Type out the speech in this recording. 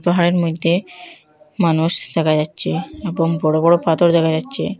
পাহাড়ের মধ্যে মানুষ দেখা যাচ্ছে এবং বড় বড় পাথর দেখা যাচ্ছে।